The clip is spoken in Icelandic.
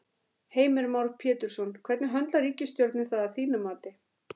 Heimir Már Pétursson: Hvernig höndlar ríkisstjórnin það að þínu mati?